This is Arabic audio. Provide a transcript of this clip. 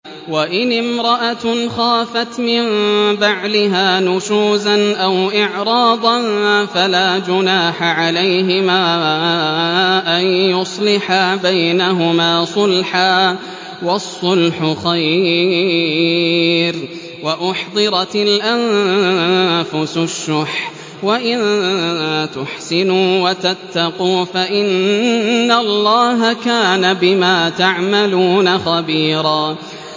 وَإِنِ امْرَأَةٌ خَافَتْ مِن بَعْلِهَا نُشُوزًا أَوْ إِعْرَاضًا فَلَا جُنَاحَ عَلَيْهِمَا أَن يُصْلِحَا بَيْنَهُمَا صُلْحًا ۚ وَالصُّلْحُ خَيْرٌ ۗ وَأُحْضِرَتِ الْأَنفُسُ الشُّحَّ ۚ وَإِن تُحْسِنُوا وَتَتَّقُوا فَإِنَّ اللَّهَ كَانَ بِمَا تَعْمَلُونَ خَبِيرًا